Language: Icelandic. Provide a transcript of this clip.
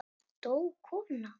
Dó kona?